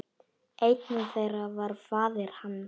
Einn þeirra var faðir hans.